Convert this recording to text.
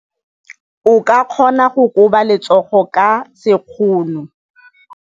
O ka kgona go koba letsogo ka sekgono.